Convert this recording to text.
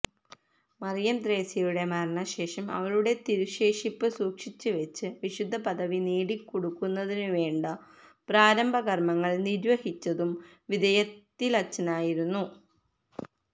മറിയംത്രേസ്യയുടെ മരണശേഷം അവളുടെ തിരുശേഷിപ്പ് സൂക്ഷിച്ചുവച്ച് വിശുദ്ധപദവി നേടിക്കൊടുക്കുന്നതിനുവേണ്ട പ്രാരംഭ കര്മങ്ങള് നിര്വഹിച്ചതും വിതയത്തിലച്ചനായിരുന്നു